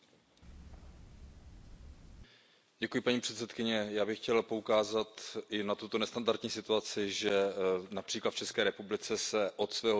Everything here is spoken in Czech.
Paní předsedající, já bych chtěl poukázat i na tuto nestandartní situaci, že například v České republice se od svého vzniku reformuje systém veřejné správy.